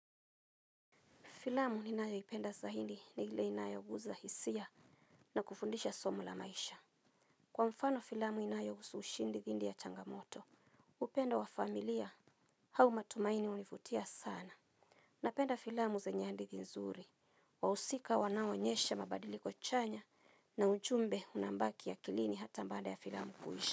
Filamu ni nayo ipenda zahindi ni ile inayoguza hisia na kufundisha somo la maisha. Kwa mfano filamu inayohusu ushindi dhindi ya changamoto, upendo wa familia hau matumaini univutia sana. Napenda filamu zenye hadithi nzuri, wahusika wanaonyesha mabadiliko chanya na ujumbe unabaki akilini hata baada ya filamu kuisha.